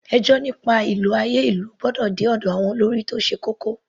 Ẹjọ́ nípa ìlò àyè ìlú gbọ́dọ̀ dé ọ̀dọ̀ àwọn olórí tó ṣe kókó.